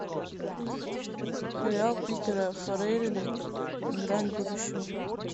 сериал питера фаррелли грань будущего